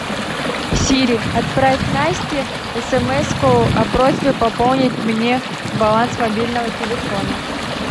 сири отправь насте смску о просьбе пополнить мне баланс мобильного телефона